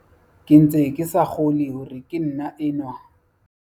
"Ke ntse ke sa kgolwe hore ke nna enwa."